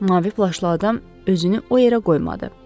Mavi plaşlı adam özünü o yerə qoymadı.